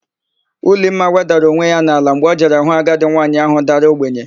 Ulimma wedara onwe ya n'ala mgbe o jere hụ agadi nwaanyị áhụ̀ dara ogbenye.